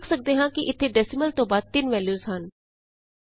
ਅਸੀਂ ਵੇਖ ਸਕਦੇ ਹਾਂ ਇਥੇ ਡੈਸੀਮਲ ਤੋਂ ਬਾਅਦ 3 ਵੈਲਯੂਜ਼ ਹਨ